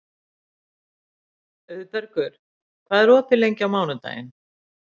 Auðbergur, hvað er opið lengi á mánudaginn?